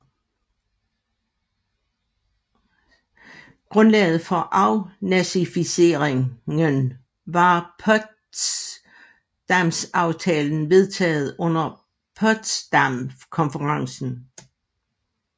Grundlaget for afnazifiseringen var Potsdamaftalen vedtaget under Potsdamkonferencen